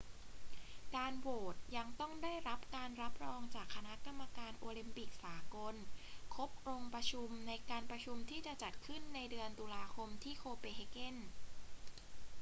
การโหวตยังต้องได้รับการรับรองจากคณะกรรมการโอลิมปิกสากลครบองค์ประชุมในการประชุมที่จะจัดขึ้นในเดือนตุลาคมที่โคเปนเฮเกน